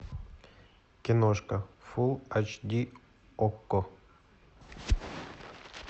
киношка фул айч ди окко